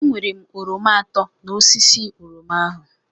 Ewere m oroma atọ n'osisi oroma ahu.